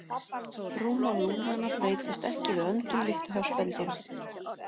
Rúmmál lungnanna breytist ekki við öndun líkt og hjá spendýrum.